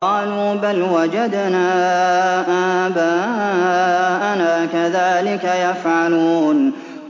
قَالُوا بَلْ وَجَدْنَا آبَاءَنَا كَذَٰلِكَ يَفْعَلُونَ